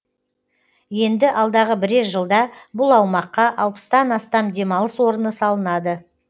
енді алдағы бірер жылда бұл аумаққа алпыстан астам демалыс орны салынады